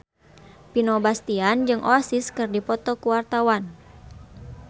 Vino Bastian jeung Oasis keur dipoto ku wartawan